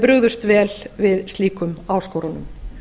brugðust vel við slíkum áskorunum